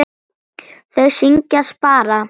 Þau syngja: SPARA!